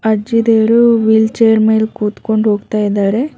ಅಜ್ಜಿದೇರು wheelchair ಮೇಲ್ ಕೂತ್ಕೊಂಡ್ ಹೋಗ್ತಾ ಇದ್ದಾರೆ.